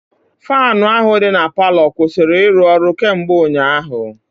Faanụ ahụ dị na palọ kwụsịrị ịrụ ọrụ kemgbe ụnyaahụ.